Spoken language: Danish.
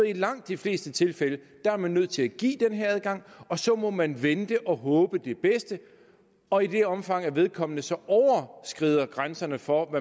i langt de fleste tilfælde er nødt til at give den her adgang og så må man vente og håbe på det bedste og i det omfang at vedkommende så overskrider grænserne for